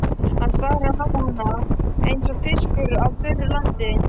Hann starir á hana eins og fiskur á þurru landi.